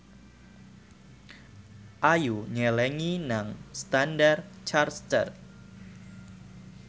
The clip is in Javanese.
Ayu nyelengi nang Standard Chartered